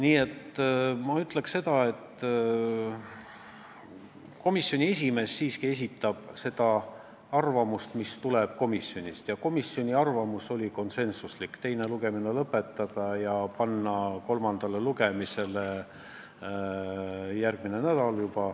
Ütlen praegu seda, et komisjoni esimees siiski esindab komisjoni arvamust ja komisjoni arvamus oli konsensuslik: teha ettepanek teine lugemine lõpetada ja panna eelnõu kolmandale lugemisele juba järgmisel nädalal.